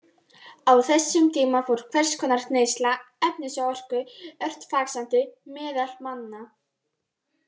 Á þessum tíma fór hvers konar neysla efnis og orku ört vaxandi meðal manna.